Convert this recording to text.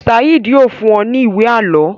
Saheed yóò fún o ní ìwé àlọ.